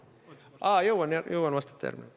Aa, jõuan veel vastata, jah.